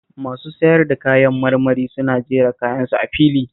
Masu sayar da kayan marmari suna jera kayansu a fili